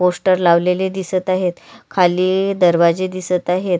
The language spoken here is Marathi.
पोस्टर लावलेले दिसत आहेत खाली दरवाजे दिसत आहेत.